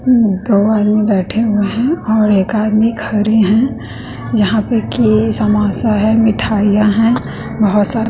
दो आदमी बैठे हुए हैं और एक आदमी खड़े हैं जहां पे की समोसा है मिठाइयां है बहोत सारे--